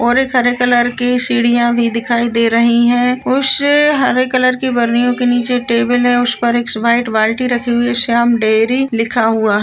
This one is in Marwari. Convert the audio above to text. और हरे एक कलर की सीढिया भी दिखाई दे रही है उस हरे कलर की बरनियो के नीचे टेबल है उस पर वाइट बाल्टी रखी हुई है श्याम डेरी लिखा हुआ है।